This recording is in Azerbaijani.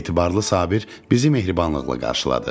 Etibarlı Sabir bizi mehribanlıqla qarşıladı.